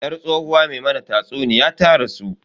Yar tsohuwa me mana tatsuniya ta rasu.